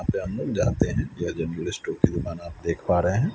जाते हैं यह की दुकान आप देख पा रहे हैं।